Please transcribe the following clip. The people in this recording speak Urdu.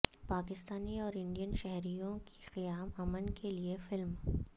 پاکستانی اور انڈین شہریوں کی قیام امن کے لیے فلم